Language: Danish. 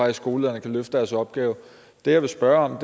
at skolelederne kan løfte deres opgave jeg vil spørge om